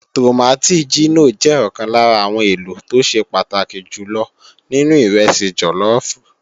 Tòmátì jínò jẹ́ ọ̀kan lára àwọn èlò tó ṣe pàtàkì jù lọ nínú ìrẹsì jọlọ́ọ̀fù